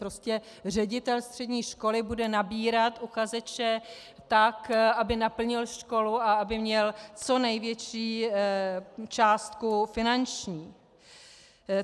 Prostě ředitel střední školy bude nabírat uchazeče tak, aby naplnil školu a aby měl co největší částku finanční.